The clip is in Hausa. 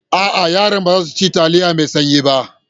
A'a, yaran ba za su ci taliyar mai sanyi ba.